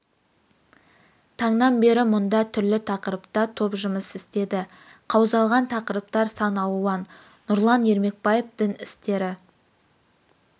таңнан бері мұнда түрлі тақырыпта топ жұмыс істеді қаузалған тақырыптар сан алуан нұрлан ермекбаев дін істері